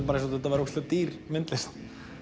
bara eins og þetta væri dýr myndlist